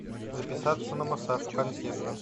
записаться на массаж у консьержа